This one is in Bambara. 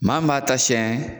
Maa min b'a ta sɛn